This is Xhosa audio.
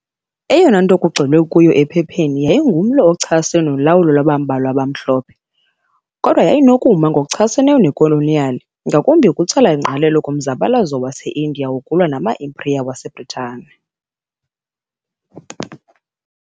Eyona nto kugxilwe kuyo ephepheni yayingumlo ochasene nolawulo lwabambalwa abamhlophe, kodwa yayinokuma ngokuchaseneyo nekoloniyali, ngakumbi ukutsala ingqalelo kumzabalazo waseIndiya wokulwa nama-impiriya wase-Bhritane.